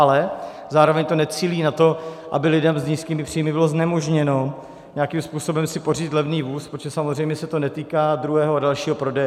Ale zároveň to necílí na to, aby lidem s nízkými příjmy bylo znemožněno nějakým způsobem si pořídit levný vůz, protože samozřejmě se to netýká druhého a dalšího prodeje.